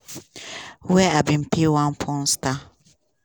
wey im bin pay one porn star.